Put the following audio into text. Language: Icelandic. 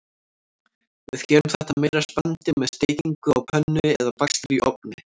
Við gerum þetta meira spennandi með steikingu á pönnu eða bakstri í ofni.